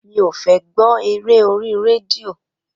Mi ó fẹ gbọ ẹrẹ ọri rẹdío